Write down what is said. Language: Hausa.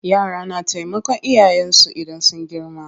Yara na taimakan iyayen su idan sun girma.